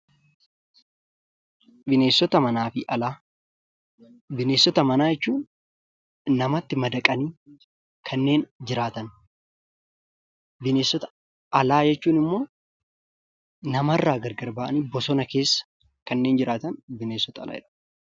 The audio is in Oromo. Bineensota manaa fi alaa, bineensota manaa jechuun namatti madaqanii kanneen jiraatan. Bineensota alaa jechuun immoo namarraa gargar ba'anii bosona keessa kanneen jiraatan bineensota alaa jedhamu.